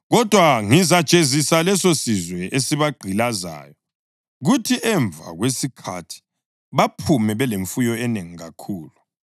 Kodwa ngizasijezisa lesosizwe esibagqilazayo, kuthi emva kwesikhathi baphume belemfuyo enengi kakhulu.